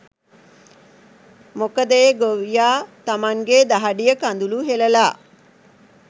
මොකද ඒ ගොවියා තමන්ගේ දහඩිය කඳුළු හෙළලා